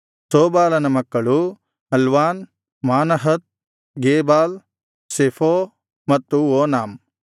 ಶೋಬಾಲನ ಮಕ್ಕಳು ಅಲ್ವಾನ್ ಮಾನಹತ್ ಗೇಬಾಲ್ ಶೆಫೋ ಮತ್ತು ಓನಾಮ್